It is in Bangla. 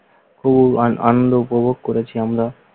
খুব আনন্দ উপভোগ করেছি আমরা।